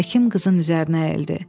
Həkim qızın üzərinə əyildi.